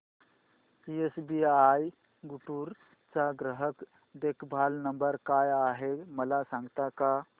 SBI Guntur चा ग्राहक देखभाल नंबर काय आहे मला सांगता का